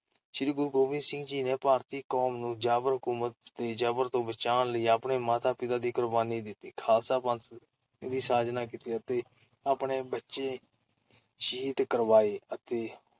ਸ੍ਰੀ ਗੁਰੂ ਗੋਬਿੰਦ ਸਿੰਘ ਜੀ ਨੇ ਭਾਰਤੀ ਕੌਮ ਨੂੰ, ਜਾਬਰ ਹਕੂਮਤ ਦੇ ਜਬਰ ਤੋਂ ਬਚਾਉਣ ਲਈ ਆਪਣੇ ਮਾਤਾ-ਪਿਤਾ ਦੀ ਕੁਰਬਾਨੀ ਦਿੱਤੀ, ਖ਼ਾਲਸਾ ਪੰਥ ਦੀ ਸਾਜਨਾ ਕੀਤੀ, ਆਪਣੇ ਬੱਚੇ ਸ਼ਹੀਦ ਕਰਵਾਏ ਅਤੇ